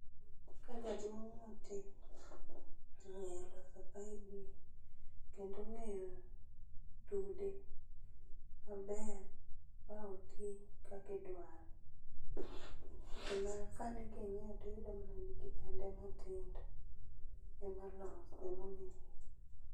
Ka jaduong' motii, ong'eyo loso paibni, kendo ong'eyo, tude maber, ba otii kakidwaro. Gima sani king'iyo tiyudo mana ni kijande matindo emaloso emong'eyo